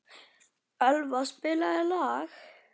Elva, spilaðu lag.